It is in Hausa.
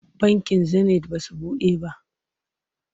Bankin Zenit ba su buɗe ba.